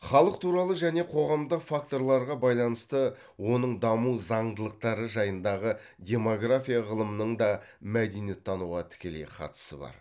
халық туралы және қоғамдық факторларға байланысты оның даму заңдылықтары жайындағы демография ғылымының да мәдениеттануға тікелей қатысы бар